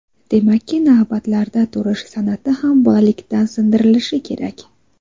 Demakki, navbatlarda turish san’ati ham bolalikdan singdirilishi kerak.